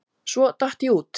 Svo datt ég út.